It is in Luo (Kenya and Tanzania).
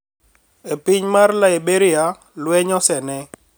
E piny mar Liberia lweny osene